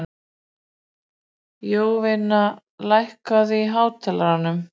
Jovina, lækkaðu í hátalaranum.